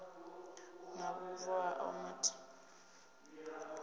na vhubvo hao matheriaḽa a